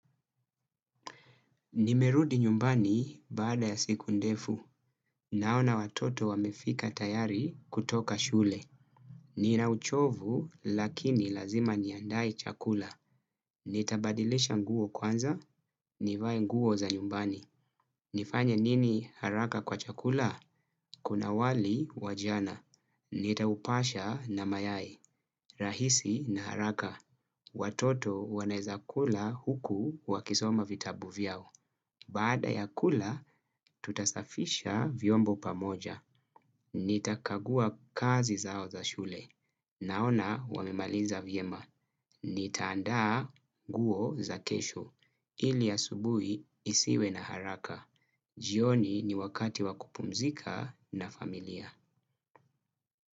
Nimerudi nyumbani baada ya siku ndefu. Naona watoto wamefika tayari kutoka shule. Nina uchovu lakini lazima niandae chakula. Nitabadilisha nguo kwanza, nivae nguo za nyumbani. Nifanya nini haraka kwa chakula? Kuna wali wa jana. Nitaupasha na mayai. Rahisi na haraka. Watoto wanaweza kula huku wakisoma vitabu vyao. Baada ya kula, tutasafisha vyombo pamoja. Nitakagua kazi zao za shule. Naona wamemaliza vyema. Nitaandaa nguo za kesho. Ili asubuhi nisiwe na haraka. Jioni ni wakati wakupumzika na familia.